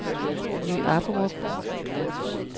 Ny Apperup